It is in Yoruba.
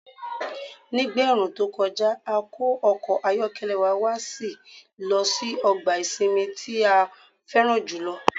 Nígbà ẹ̀ẹ̀rùn tó kọjá, a kó ọkọ̀ ayọ́kẹ́lẹ́ wa a sì lọ sí ọgbà ìsinmi tí a fẹ́ràn jù lọ.